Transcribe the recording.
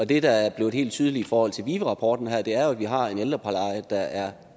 det der er blevet helt tydeligt i forhold til vive rapporten her er jo at vi har en ældrepleje der er